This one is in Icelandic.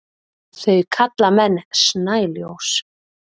þau kalla menn snæljós